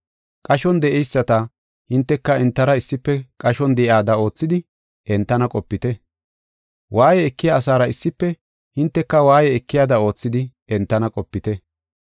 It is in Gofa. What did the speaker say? Qashon de7eyisata hinteka entara issife qashon de7iyada oothidi entana qopite. Waaye ekiya asaara issife hinteka waaye ekiyada oothidi entana qopite.